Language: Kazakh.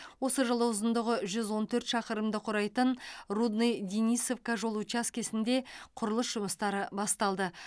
осы жылы ұзындығы жүз он төрт шақырымды құрайтын рудный денисовка жол учаскесінде құрылыс жұмыстары басталды